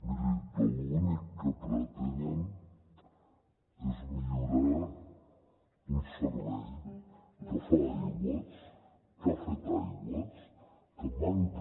miri l’únic que pretenen és millorar un servei que fa aigües que ha fet aigües que manca